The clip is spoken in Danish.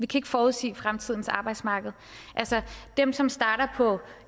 kan forudsige fremtidens arbejdsmarked dem som starter på